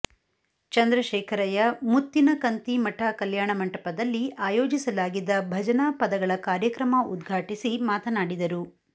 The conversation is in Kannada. ಚಂದ್ರಶೇಖರಯ್ಯ ಮುತ್ತಿನಕಂತಿಮಠ ಕಲ್ಯಾಣ ಮಂಟಪದಲ್ಲಿ ಆಯೋಜಿಸಲಾಗಿದ್ದ ಭಜನಾ ಪದಗಳ ಕಾರ್ಯಕ್ರಮ ಉದ್ಘಾಟಿಸಿ ಮಾತನಾಡಿದರು